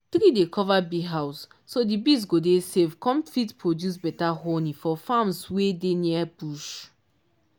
tree dey cover bee house so di bees go dey safe com fit produce better honey for farms wey dey near bush